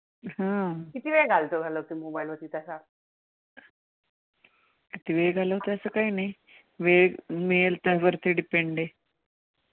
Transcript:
किती वेळ झालं त्याच काय नाही. वेळ मिळेल त्यावरती depend आहे.